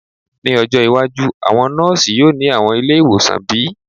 Ni ojo iwaju, awọn nọọsi yoo ni awọn ile-iwosan bi?